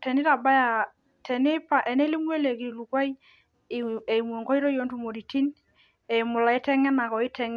teneitabaya tenelimu ele kilikuai eimu enkoitoi oontokitin eimuu ilaiteng'enak.